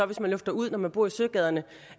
hvis man lufter ud når man bor i søgaderne